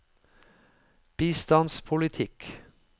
bistandspolitikk